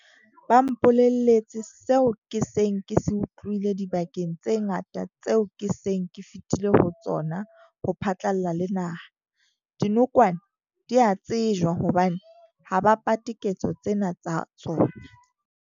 Ba mpolelletse seo ke seng ke se utlwileng dibakeng tse ngata tseo ke seng ke fetile ho tsona ho phatlalla le naha- dinokwane di a tsejwa hobane ha ba pate ketso tsena tsa tsona.